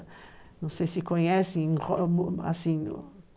Não sei se conhecem.